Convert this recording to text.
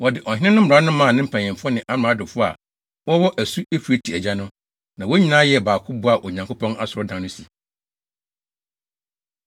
Wɔde ɔhene no mmara no maa ne mpanyimfo ne amradofo a wɔwɔ asu Eufrate agya no, na wɔn nyinaa yɛɛ baako boaa Onyankopɔn asɔredan no si.